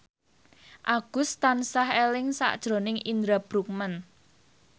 Agus tansah eling sakjroning Indra Bruggman